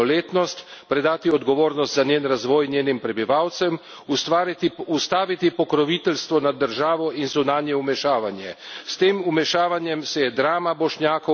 Bosni in Hercegovini je danes treba priznati polnoletnost, predati odgovornost za njen razvoj njenim prebivalcem, ustaviti pokroviteljstvo nad državo in zunanje vmešavanje.